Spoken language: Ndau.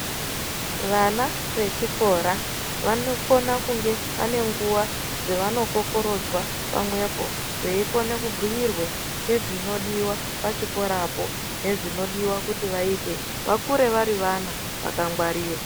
Vana vechikora vanokona kunge vane nguva dzavanokokorodzwa pamwepo veikone kubhuirwe ngezvinodiva pachikorapo. Nezvinodiva kuti vaite vakure vari vana vakangwarira.